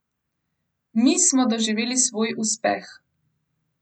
Mi smo doživeli svoj uspeh.